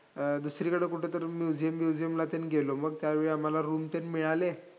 दुसरीकडं कुठंतरी museum ब्युजीअमला तेन गेलो. मग त्यावेळी आम्हाला room तेन मिळाले.